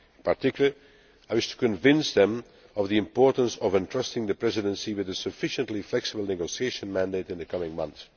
In particular, I wish to convince them of the importance of entrusting the Presidency with a sufficiently flexible negotiation mandate in the coming month.